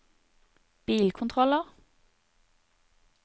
bilkontroller